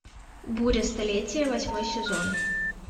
буря столетия восьмой сезон